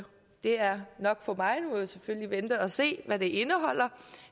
det er nok for mig nu må jeg selvfølgelig vente og se hvad det indeholder